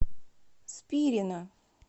спирина